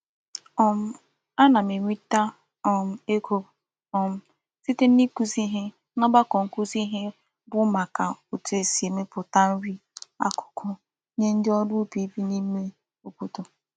um Ana m enweta um ego um site n'ikuzi ihe n'ogbako nkuzi ihe bu maka otu e si emeputa nri akuku nye ndi órú ubi bi n'ime obodo.